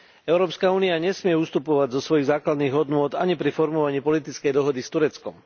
Európska únia nesmie ustupovať zo svojich základných hodnôt ani pri formulovaní politickej dohody s Tureckom.